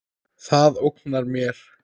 Það ógnar mér.